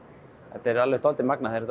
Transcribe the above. þetta er alveg dálítið magnað þegar